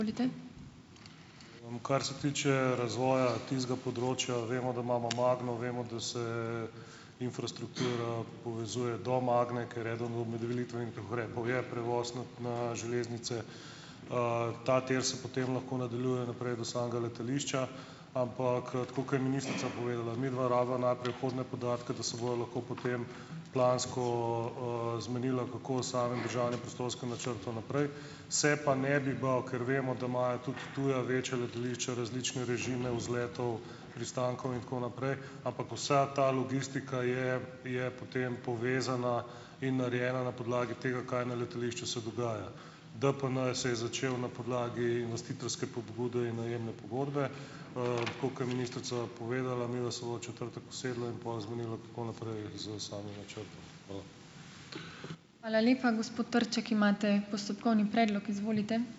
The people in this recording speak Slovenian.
Kar se tiče razvoja tistega področja, vemo, da imamo Magno, vemo, da se infrastruktura povezuje do Magne, ker eden od je prevoz na, na železnice. Ta tir se potem lahko nadaljuje naprej do samega letališča, ampak, tako kot je ministrica povedala, midva rabiva najprej vhodne podatke, da se bova lahko potem plansko, zmenila, kako s samim državnim prostorskim načrtom naprej. Se pa ne bi bal, ker vemo, da imajo tudi tuja večja letališča različne režime vzletov, pristankov in tako naprej, ampak vsa ta logistika je, je potem povezana in narejena na podlagi tega, kaj na letališču se dogaja. DPN se je začel na podlagi investitorske pobude in najemne pogodbe. Tako kot je ministrica povedala, midva se bova v četrtek usedla in pol zmenila, kako naprej s samim načrtom. Hvala.